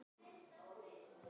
Ég trúði þeim ekki.